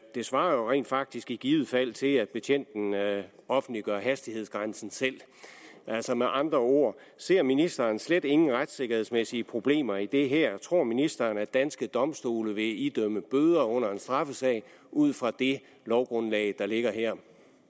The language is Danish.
svarer jo rent faktisk i givet fald til at betjenten offentliggør hastighedsgrænsen selv med andre ord ser ministeren slet ingen retssikkerhedsmæssige problemer i det her tror ministeren at danske domstole vil idømme bøder under en straffesag ud fra det lovgrundlag der ligger her